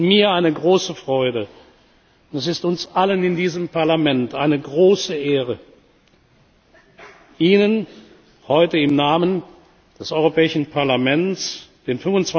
wird. Es ist mir eine große Freude und es ist uns allen in diesem Parlament eine große Ehre, Ihnen heute im Namen des Europäischen Parlaments